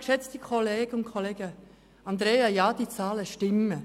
Grossrätin Andrea Gschwend, ja, die Zahlen stimmen.